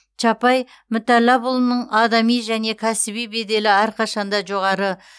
чапай мүтәллапұлының адами және кәсіби беделі әрқашанда жоғары